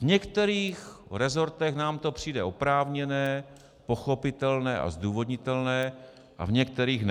V některých rezortech nám to přijde oprávněné, pochopitelné a zdůvodnitelné a v některých ne.